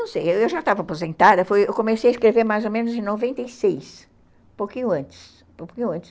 Não sei, eu já estava aposentada, comecei a escrever mais ou menos em noventa e seis, um pouquinho antes, um pouquinho antes.